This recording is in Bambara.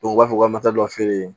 u b'a fɔ ko ka matato feere